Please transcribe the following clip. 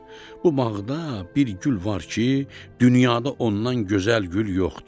Bu bağda bir gül var ki, dünyada ondan gözəl gül yoxdur.